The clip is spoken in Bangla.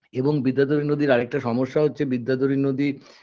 এবং বিদ্যাধরী নদীর আর একটা সমস্যা হচ্ছে বিদ্যাধরী নদীর